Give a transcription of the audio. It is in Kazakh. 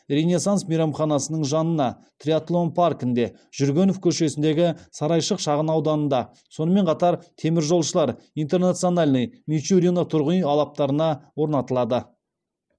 ренессанс мейрамханасының жанына триатлон паркінде жүргенов көшесіндегі сарайшық шағын ауданында сонымен қатар теміржолшылар интернациональный мичурино тұрғын үй алаптарына орнатылады